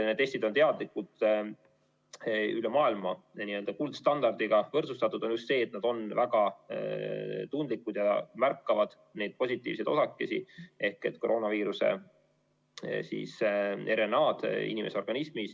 Need testid on üle maailma teadlikult n‑ö kuldstandardiga võrdsustatud, nad on väga tundlikud, et märgata neid positiivseid osakesi ehk koroonaviiruse RNA‑d inimese organismis.